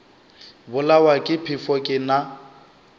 bolawa ke phefo ke na